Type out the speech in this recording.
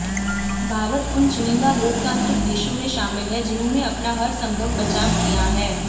भारत उन चुनिंदा लोकतांत्रिक देशों में शामिल है जिन्होंने अपना हर संभव बचाव किया है